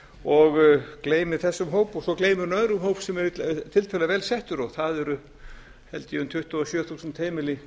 og gleymir þessum hóp og svo gleymir hún öðrum hóp sem er tiltölulega vel settur og það eru held ég um tuttugu og sjö þúsund heimili